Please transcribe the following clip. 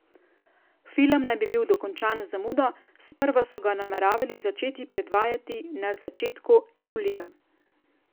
Film naj bi bil dokončan z zamudo, sprva so ga nameravali začeti predvajati na začetku julija.